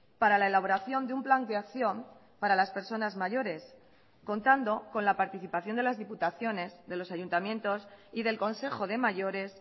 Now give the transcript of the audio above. para la elaboración de un plan de acción para las personas mayores contando con la participación de las diputaciones de los ayuntamientos y del consejo de mayores